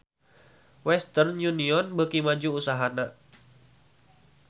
Western Union beuki maju usahana